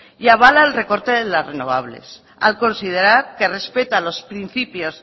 y avala el recorte de las renovables al considerar que respeta los principios